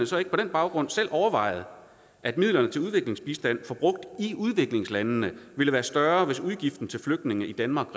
så ikke på den baggrund selv overvejet at midlerne til udviklingsbistand forbrugt i udviklingslandene ville være større hvis udgiften til flygtninge i danmark